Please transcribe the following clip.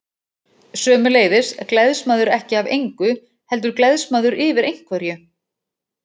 Sömuleiðis gleðst maður ekki af engu, heldur gleðst maður yfir einhverju.